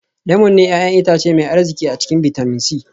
Lemun ne 'ya'yan itace mai arziki a cikin bitamin c